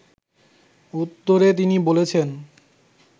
উত্তরে তিনি বলেছেন